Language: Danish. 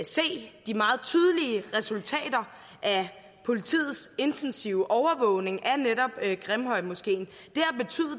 se de meget tydelige resultater af politiets intensive overvågning af netop grimhøjmoskeen